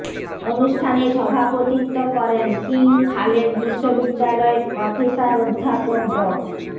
অনুষ্ঠানে সভাপতিত্ব করেন কিং খালেদ বিশ্ববিদ্যালয়ের প্রফেসর অধ্যাপক ড